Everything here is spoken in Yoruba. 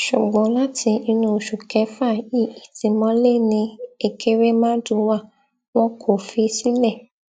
ṣùgbọn láti inú oṣù kéfà yìí ìtìmọlé ni ẹkẹrẹmàdù wá wọn kò fi í sílẹ